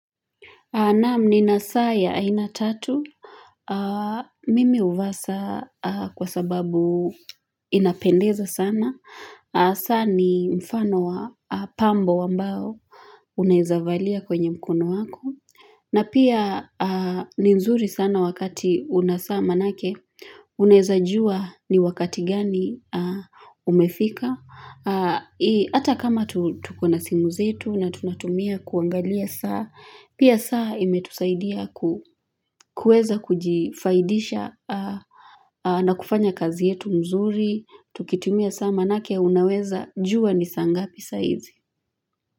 Naam nina saa ya aina tatu, mimi huvaa saa kwa sababu inapendeza sana, saa ni mfano wa pambo ambao unaezavalia kwenye mkono wako, na pia ni nzuri sana wakati una saa manake, unaeza jua ni wakati gani umefika. Hata kama tuko na simu zetu na tunatumia kuangalia saa, Pia saa imetusaidia kueza kujifaidisha na kufanya kazi yetu mzuri Tukitumia saa manake unaweza jua ni sangapi saa hizi.